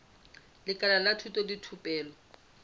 lekala la thuto le thupelo